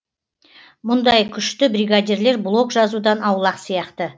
мұндай күшті бригадирлер блог жазудан аулақ сияқты